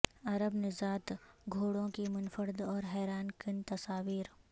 عرب نژاد گھوڑوں کی منفرد اور حیران کن تصاویر